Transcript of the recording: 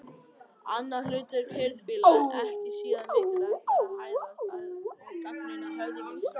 Annað hlutverk hirðfífla, ekki síður mikilvægt, var að hæðast að og gagnrýna höfðingja sína.